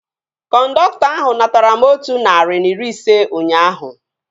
Kọndọktọ ahu natara m otu narị na iri ise ụnyaahụ